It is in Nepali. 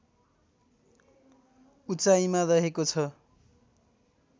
उचाइमा रहेको छ